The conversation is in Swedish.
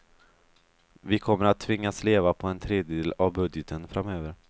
Vi kommer att tvingas leva på en tredjedel av budgeten framöver.